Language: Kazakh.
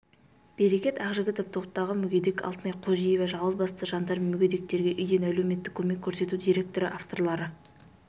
берекет ақжігітов топтағы мүгедек алтынай қожиева жалғызбасты жандар мен мүгедектерге үйден әлеуметтік көмек көрсету директоры авторлары